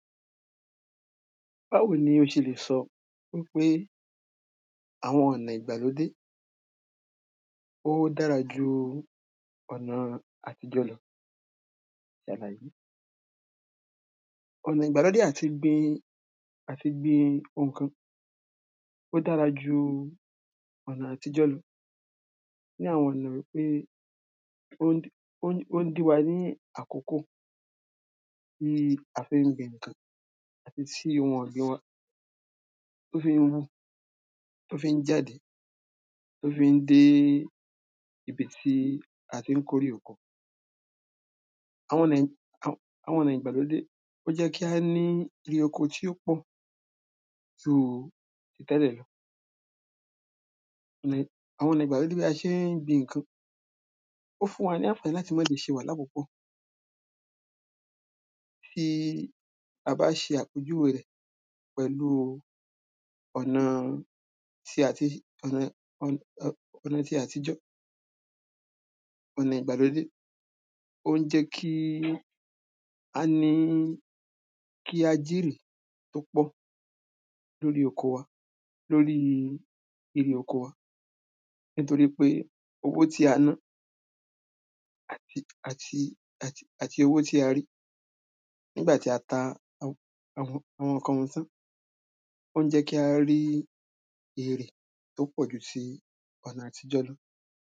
báwo ní o ṣe lè sọ í pé àwọn ọ̀nà ìgbàlódé dára ju ọ̀nà àtijọ́ lọ ṣàlàyé ọ̀nà ìgbàlódé àti gbin ǹkan ó dára ju ọ̀nà àtijọ́ lọ ní àwọn ọ̀nà wípé ó ń dín ó ń dín wa ní àkókò tí a fi ń gbin ǹkan àti sí ohun ọ̀gbìn wa tó fi ń wù, tó fi ń jáde, tó fi ń dé ibi tí a ti ń kórè oko àwọn ọ̀nà, àwọn àwọn ọ̀nà ìgbàlódé ó jẹ́ kí a ní erè oko tí ó pọ̀ ju ti tẹ́lẹ̀ lọ ni, àwọn ọ̀nà ìgbàlódé bí a ṣe ń gbin ǹkan, ó fún wa ní ọ̀fẹ́ láti má ṣe ṣe wàhálà púpọ̀ bí a bá ṣe àpèjúwe rẹ̀ pẹ̀lúu ọ̀nà ti àti ọ̀nà ọ̀nà ọ̀nà ọ̀nà ti àtijọ́ ọ̀nà ìgbàlódé ó ń jẹ́ kí a ní kí a jèrè tó pọ̀ lórí oko wa lórí erè oko wa nítorípé owó tí a ná àti àti àti owó tí a rí nígbà tí a ta àwọn àwọn àwọn ǹkan yí tán ó ń jẹ́ kí a rí èrè tó pọ̀jù ti ọ̀nà àtijọ́ lọ